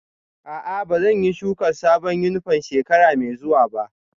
A'a, ba zan yi shuka sabon yunifwom shekara mai zuwa ba